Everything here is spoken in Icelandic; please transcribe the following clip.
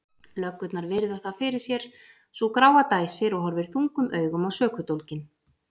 Löggurnar virða það fyrir sér, sú gráa dæsir og horfir þungum augum á sökudólginn.